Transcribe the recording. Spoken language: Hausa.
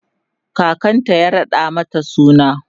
kakanta ya raɗa mata suna